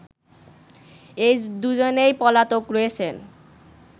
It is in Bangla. এ দুজনেই পলাতক রয়েছেন